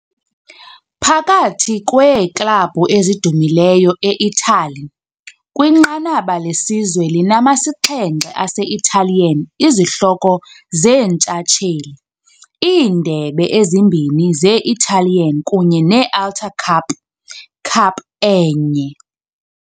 Phakathi kweeklabhu ezidumileyo e-Italy, kwinqanaba lesizwe linama-7 ase -Italian izihloko zeentshatsheli, iindebe ezimbini ze-Italian kunye ne -Alta Cup Cup enye.